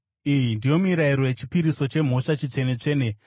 “ ‘Iyi ndiyo mirayiro yechipiriso chemhosva chitsvene-tsvene.